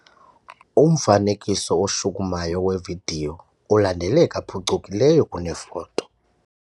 Umfanekiso oshukumayo wevidiyo ulandeleka phucukileyo kunefoto.